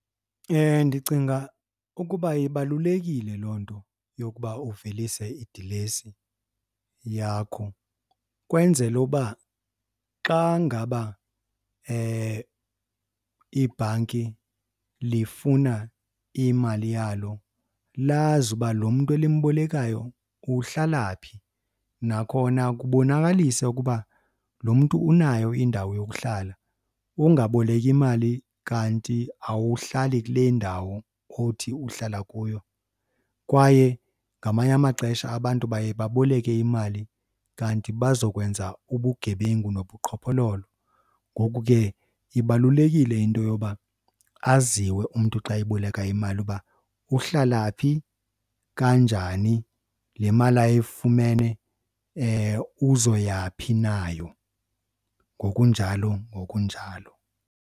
Ndicinga ukuba ibalulekile loo nto yokuba uvelise idilesi yakho kwenzela uba xa ngaba ibhanki lifuna imali yalo, lazi uba lo mntu elimbolekayo uhlala phi. Nakhona kubonakalise ukuba lo mntu unayo indawo yokuhlala ungaboleki imali kanti awuhlali kule ndawo othi uhlala kuyo. Kwaye ngamanye amaxesha abantu baye baboleke imali kanti bazokwenza ubugebengu nobuqhophololo. Ngoku ke ibalulekile into yoba aziwe umntu xa eboleka imali uba uhlala phi, kanjani, le mali ayifumene uzoya phi nayo, ngokunjalo ngokunjalo.